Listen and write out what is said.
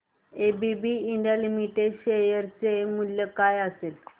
ABB India limited share चे मूल्य काय असेल